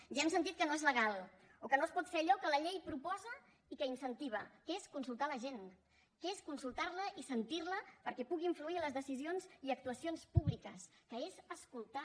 ja hem sentit que no és legal o que no es pot fer allò que la llei proposa i que incentiva que és consultar la gent que és consultarla i sentirla perquè pugui influir en les decisions i actuacions públiques que és escoltar